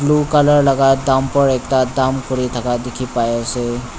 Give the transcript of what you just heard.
blue colour laga dumper ekta dump kuri thaka dikhi pai ase.